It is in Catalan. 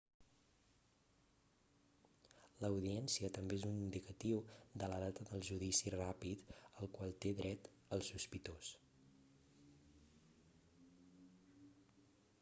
l'audiència també és un indicatiu de la data del judici ràpid al qual té dret el sospitós